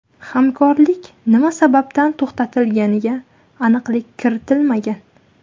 Hamkorlik nima sababdan to‘xtatilganiga aniqlik kiritilmagan.